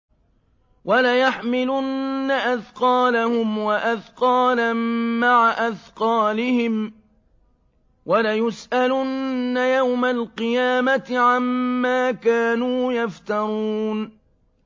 وَلَيَحْمِلُنَّ أَثْقَالَهُمْ وَأَثْقَالًا مَّعَ أَثْقَالِهِمْ ۖ وَلَيُسْأَلُنَّ يَوْمَ الْقِيَامَةِ عَمَّا كَانُوا يَفْتَرُونَ